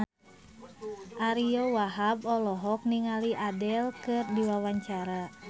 Ariyo Wahab olohok ningali Adele keur diwawancara